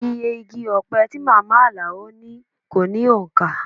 Iye igi ọpẹ tí màmá Alao ní kó ní òǹkà